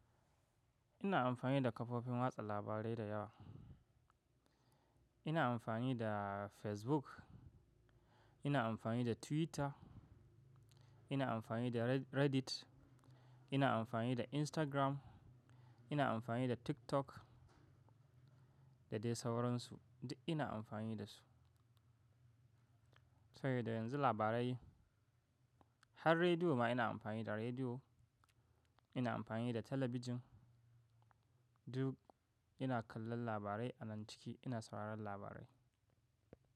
Ina amfani da kafofin watsa labarai da yawa. Ina amfani da Facebook, ina amfani da Twitter, ina amfani da Reddit, ina amfani da Instagram, ina amfani da TikTok da dai sauransu. Duk ina amfani da su. Sabi da yanzu labarai har rediyo ma ina amfani da rediyo, ina amfani da talabijin duk ina kallon labarai a nan ciki ina sauraron labarai.